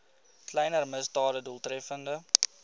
kleiner misdade doeltreffend